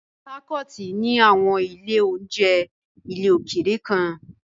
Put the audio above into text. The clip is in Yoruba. Port Harcourt ní àwọn ilé-oúnjẹ ilẹ̀ òkèèrè kan.